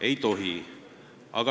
Ei tohi.